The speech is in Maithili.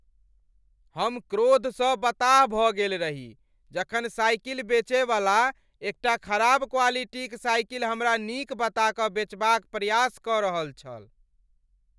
हम क्रोध सँ बताह भ गेल रही जखन साइकिल बेचय वाला एकटा खराब क्वालिटीक साइकिल हमरा नीक बता कऽ बेचबा क प्रयास क रहल छल ।